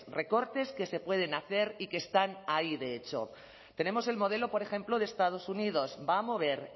recortes que se pueden hacer y que están ahí de hecho tenemos el modelo por ejemplo de estados unidos va a mover